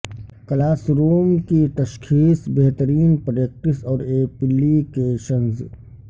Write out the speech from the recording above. class room کی تشخیص بہترین پریکٹس اور ایپلی کیشنز